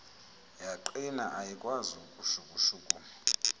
yaqina ayikwazi ukushukushukuma